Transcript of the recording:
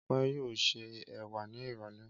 Ọpẹ́ yóò se ẹ̀wà ní ìrọ́lẹ́.